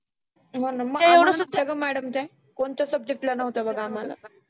तुम्हाला ग madam त्या? कोणत्या subject ला नव्हत्या बघ आम्हाला.